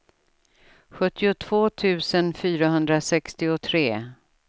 sjuttiotvå tusen fyrahundrasextiotre